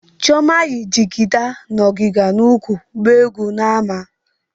Chioma yi jigida na ọgịga n'úkwù gbaa egwu n'ámá.